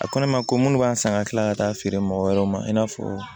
A ko ne ma ko munnu b'an san ka tila ka taa feere mɔgɔ wɛrɛw ma i n'a fɔ